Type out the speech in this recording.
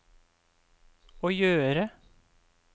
å gjøre